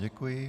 Děkuji.